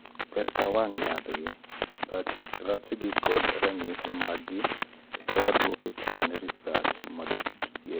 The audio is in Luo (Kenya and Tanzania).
ber ka wang'eyp jaath gi , rachgi kod ranyisi mag gi eka waduok chien rsch msgikelo